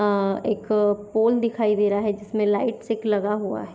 आ एक पोल दिखाई दे रहा है जिसमे लाईट सिक लगा हुआ है।